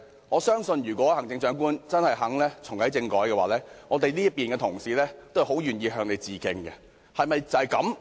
我相信，如果行政長官真的願意重啟政改，我們這邊的同事都很樂意向她致敬。